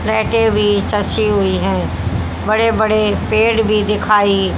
लाइटें भी सच्ची हुई हैं बड़े बड़े पेड़ भी दिखाई--